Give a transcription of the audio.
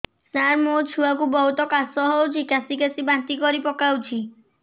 ସାର ମୋ ଛୁଆ କୁ ବହୁତ କାଶ ହଉଛି କାସି କାସି ବାନ୍ତି କରି ପକାଉଛି